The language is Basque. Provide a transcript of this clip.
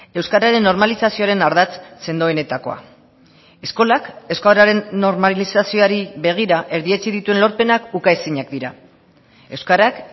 euskararen normalizazioaren ardatz sendoenetakoa eskolak euskararen normalizazioari begira erdietsi dituen lorpenak ukaezinak dira euskarak